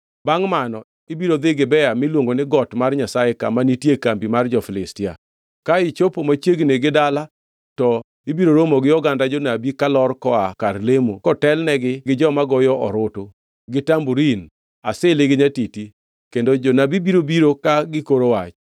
“Bangʼ mano ibiro dhi Gibea miluongo ni Got mar Nyasaye kama nitie kambi mar jo-Filistia. Ka ichopo machiegni gi dala to ibiro romo gi oganda jonabi kalor koa kar lemo kotelnegi gi joma goyo orutu, gi tamborin, asili gi nyatiti, kendo jonabi biro biro ka gikoro wach.